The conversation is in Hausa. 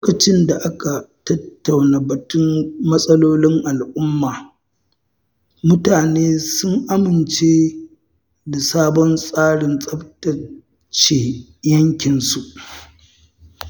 Lokacin da aka tattauna batun matsalolin al'umma, mutane sun amince da sabon tsarin tsaftace yankinsu.